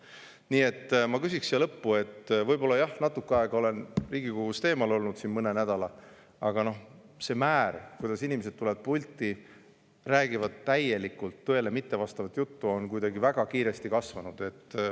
Nii et ma siia lõppu, et natuke aega, mõne nädala, olen Riigikogust eemal olnud, aga see määr, kui inimesed tulevad pulti ja räägivad täielikult tõele mittevastavat juttu, on kuidagi väga kiiresti kasvanud.